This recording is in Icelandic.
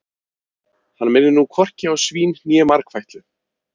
Hann minnir nú hvorki á svín né margfætlu.